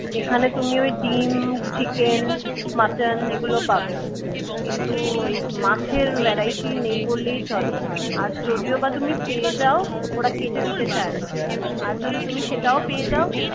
এখানে তুমি ওই ডিম chicken, mutton এগুলো পাবে। কিন্তু ওই মাছের variety নেই বললেই চলে। আর যদিও বা তুমি পেয়ে যাও ওরা কেটে দিতে চায় না আর যদি তুমি সেটাও পেয়ে যাও